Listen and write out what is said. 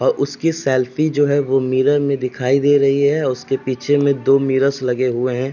और उसकी सेल्फी जो है व मिरर में दिखाई दे रही है। उसके पीछे में दो मिर्रोर्स लगे हुए हैं।